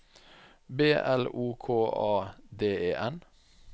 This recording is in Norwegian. B L O K A D E N